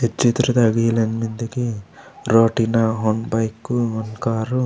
ई चित्र ता इलन मेन्दे की रोड़ी ना ओंड बाइकु ओंड कारू।